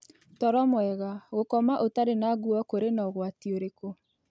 Toro mwega: Gũkoma ũtarĩ na ngũo kũrĩ na ũgwatĩ ũrĩkũ?